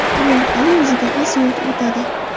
U orqali o‘ziga xos yo‘l o‘tadi.